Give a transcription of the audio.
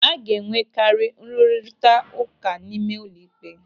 A ga-enwekari nrụrita ụka n'ime ụlọikpe.